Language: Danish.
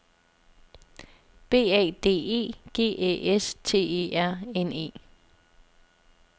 B A D E G Æ S T E R N E